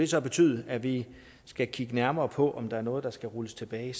så betyde at vi skal kigge nærmere på om der er noget der skal rulles tilbage